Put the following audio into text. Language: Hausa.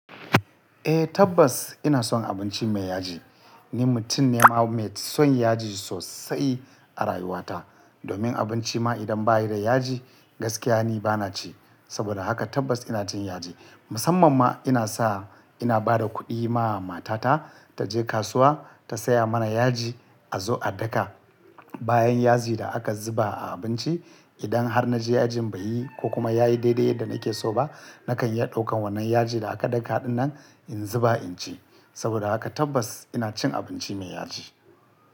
Eh tabbas ina son abinci mai yaji. Ni mutum ne ma mai son yaji sosai a rayuwa ta. Domin abinci ma idan ba yi da yaji gaskiya ni ba na ci. Saboda haka tabbas ina cin yaji. Musamman ma ina sa ina ba da kuɗi ma matata ta je kasuwa ta saya mana yaji a zo a daka. Bayan yaji da aka zuba a abinci idan har naji yajin baiyi ko kuma yayi daidai yadda nake so ba nakan iya ɗaukan wannan yaji da aka daka ɗinnan in zuba inci. Saboda haka tabbas ina cin abinci mai yaji.